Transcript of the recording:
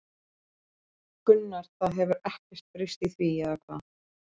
Gunnar: Það hefur ekkert breyst í því, eða hvað?